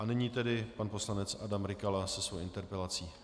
A nyní tedy pan poslanec Adam Rykala se svou interpelací.